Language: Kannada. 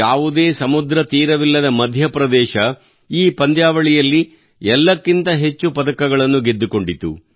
ಯಾವುದೇ ಸಮುದ್ರ ತೀರವಿಲ್ಲದ ಮಧ್ಯಪ್ರದೇಶ ಈ ಪಂದ್ಯಾವಳಿಯಲ್ಲಿ ಎಲ್ಲಕ್ಕಿಂತ ಹೆಚ್ಚು ಪದಕಗಳನ್ನು ಗೆದ್ದುಕೊಂಡಿತು